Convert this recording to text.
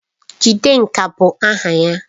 Jidenka bụ aha ya